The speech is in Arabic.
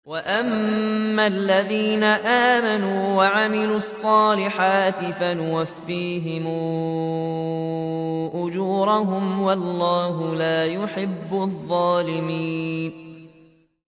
وَأَمَّا الَّذِينَ آمَنُوا وَعَمِلُوا الصَّالِحَاتِ فَيُوَفِّيهِمْ أُجُورَهُمْ ۗ وَاللَّهُ لَا يُحِبُّ الظَّالِمِينَ